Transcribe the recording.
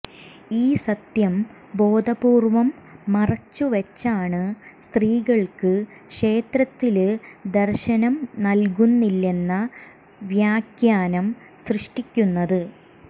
ഈ സത്യം ബോധപൂര്വ്വം മറച്ചുവച്ചാണ് സ്ത്രീകള്ക്ക് ക്ഷേത്രത്തില് ദര്ശനം നല്കുന്നില്ലെന്ന വ്യാഖ്യാനം സൃഷ്ടിക്കുന്നത്